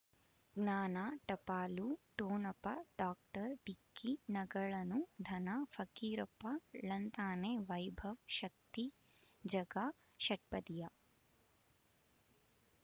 ಜ್ಞಾನ ಟಪಾಲು ಠೊಣಪ ಡಾಕ್ಟರ್ ಢಿಕ್ಕಿ ಣಗಳನು ಧನ ಫಕೀರಪ್ಪ ಳಂತಾನೆ ವೈಭವ್ ಶಕ್ತಿ ಝಗಾ ಷಟ್ಪದಿಯ